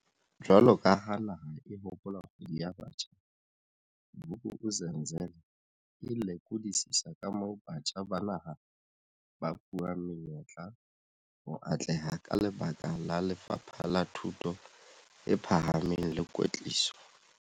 Jwalo ka ha naha e hopola Kgwedi ya Batjha, Vuk'uzenzele e lekodisisa kamoo batjha ba naha ba fuwang menyetla ho atleha ka lebaka la Lefapha la Thuto e Pha hameng le Kwetliso.